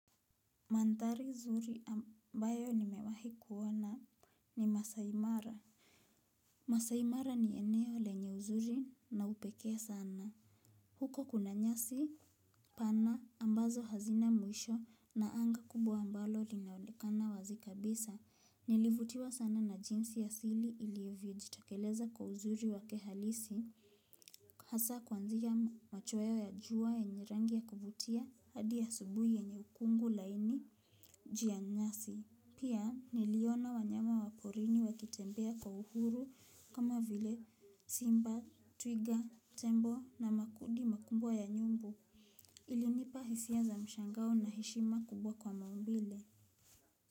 Mandhari zuri ambayo nimewahi kuona ni Masaimara. Masaimara ni eneo lenye uzuri na upekee sana. Huko kuna nyasi pana ambazo hazina mwisho na anga kubwa ambalo linaolekana wazi kabisa. Nilivutiwa sana na jinsi ya sili ilivyo jitakeleza kwa uzuri wake halisi. Hasa kuanzia machoaya ya jua yenye rangi ya kuvutia hadi asubuhi yenye ukungu laini jia nyasi. Pia niliona wanyama wa porini wakitembea kwa uhuru kama vile simba twiga tembo na makudi makumbwa ya nyumbu. Ilinipa hisia za mshangao na hishima kubwa kwa maumbile.